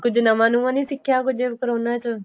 ਕੁੱਝ ਨਵਾ ਨੁਵਾ ਨੀਂ ਸਿੱਖਿਆ ਕੁੱਝ ਕਰੋਨਾ ਚ